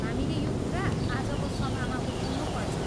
हामीले यो कुरा आजको सभामा उठाउनुपर्छ।